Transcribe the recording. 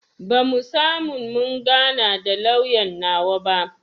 Bamu samu mun gana da lauyan nawa ba